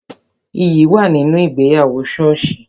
Iyì wà nínú ìgbéyàwó soosi